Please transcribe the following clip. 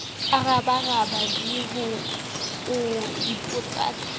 a rabaraba v o ipotsaka